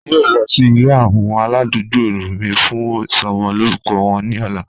A yoo lọ si ile awọn aladugbo mi fun isomo lorukọ wọn ni ọla.